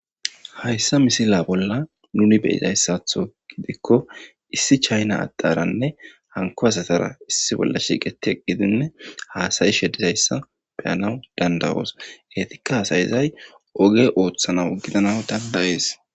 hayssa misila bolla nuni beyizayssatho gidikko issi chayna addaranne hanko hasatara issi bolla shiiqete gidinne haasayi shedizayssa beyanaw dandawoos etikka haasayizay oge ooththanaw gidanaw dandayees